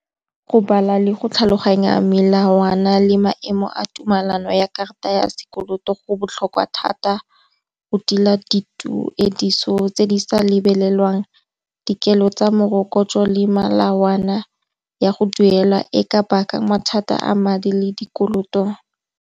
Go bala le go tlhaloganya melawana le maemo a tumelano ya karata ya sekoloto go botlhokwa thata, go tila dituediso tse di sa lebelelwang dikelo tsa morokotso le melawana ya go duela e ka baka mathata a madi le dikoloto.